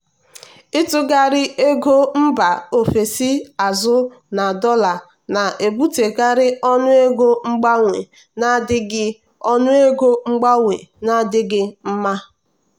ịtụgharị ego mba ofesi azụ na dollar na-ebutekarị ọnụego mgbanwe na-adịghị ọnụego mgbanwe na-adịghị mma.